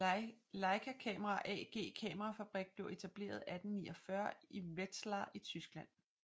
Leica Camera AG kamerafabrik blev etableret 1849 i Wetzlar i Tyskland